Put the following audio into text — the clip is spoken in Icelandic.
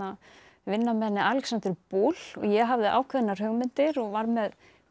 vinna með henni Alexöndru Buhl og ég hafði ákveðnar hugmyndir og var með